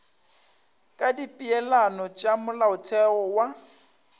ka dipeelano tša molaotheo wo